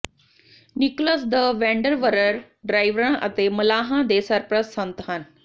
Nicholas the wonderworker ਡਰਾਈਵਰਾਂ ਅਤੇ ਮਲਾਹਾਂ ਦੇ ਸਰਪ੍ਰਸਤ ਸੰਤ ਹਨ